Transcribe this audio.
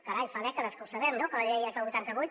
carai fa dècades que ho sabem no que la llei és del vuitanta vuit